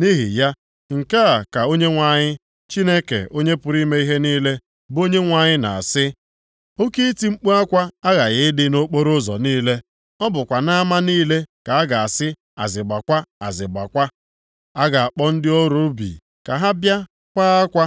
Nʼihi ya, nke a ka Onyenwe anyị, Chineke Onye pụrụ ime ihe niile, bụ Onyenwe anyị na-asị, “Oke iti mkpu akwa aghaghị ịdị nʼokporoụzọ niile; ọ bụkwa nʼama niile ka ha ga-asị, azịgbakwa, azịgbakwa. A ga-akpọ ndị ọrụ ubi ka ha bịa kwaa akwa,